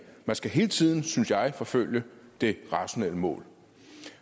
man skal hele tiden synes jeg forfølge det rationelle mål